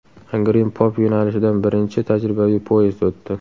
Angren-Pop yo‘nalishidan birinchi tajribaviy poyezd o‘tdi .